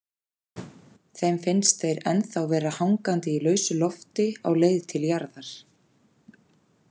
Þeim finnst þeir ennþá vera hangandi í lausu lofti á leið til jarðar.